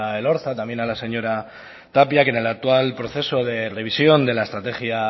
elorza también a la señora tapia que en el actual proceso de revisión de la estrategia